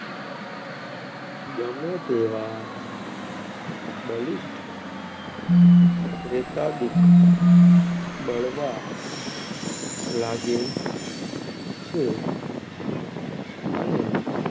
ગમે તેવા બલિસઠ પ્રેતાદિક બળવા લાગે છે અને,